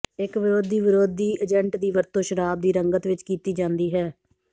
ਇੱਕ ਵਿਰੋਧੀ ਵਿਰੋਧੀ ਏਜੰਟ ਦੀ ਵਰਤੋਂ ਸ਼ਰਾਬ ਦੀ ਰੰਗਤ ਵਿੱਚ ਕੀਤੀ ਜਾਂਦੀ ਹੈ